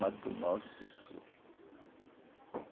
Matou nove pessoas.